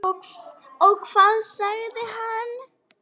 Og hvað sagði hann?